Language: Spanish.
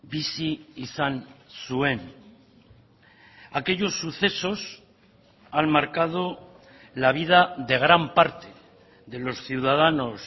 bizi izan zuen aquellos sucesos han marcado la vida de gran parte de los ciudadanos